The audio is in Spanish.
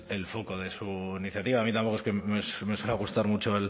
el de su iniciativa a mí tampoco es que me suela gustar mucho